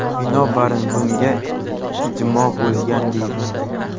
Binobarin, bunga ijmo‘ bo‘lgan”, deydi.